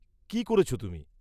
কি করেছ তুমি?